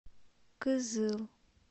кызыл